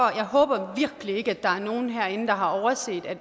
jeg håber virkelig ikke at der er nogen herinde der har overset at